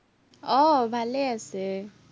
আহ ভালেই আছে।